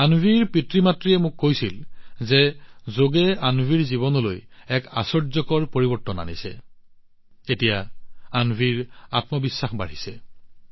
অন্বীৰ পিতৃমাতৃয়ে মোক কৈছিল যে যোগে অন্বীৰ জীৱনত এক আশ্চৰ্যকৰ পৰিৱৰ্তন আনিছে আৰু এতিয়া তাইৰ আত্মবিশ্বাস আশ্চৰ্যজনকভাৱে বৃদ্ধি হৈছে